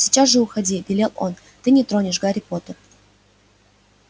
сейчас же уходи велел он ты не тронешь гарри поттера